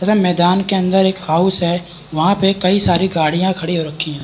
तथा मैदान के अंदर एक हाउस वहाँ पे कई सारी गाडियां खड़ी हो रखी हैं ।